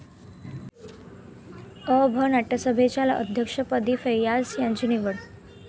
अ.भा. नाट्यसंमेलनाच्या अध्यक्षपदी फैय्याज यांची निवड